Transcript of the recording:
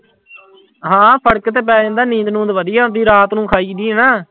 ਹਾਂ ਫ਼ਰਕ ਤੇ ਪੈ ਜਾਂਦਾ, ਨੀਂਦ ਨੂੰਦ ਵਧੀਆ ਆਉਂਦੀ ਰਾਤ ਨੂੰ ਖਾਈਦੀ ਹੈ ਨਾ।